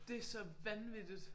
Det så vanvittigt!